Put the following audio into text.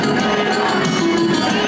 Heydər!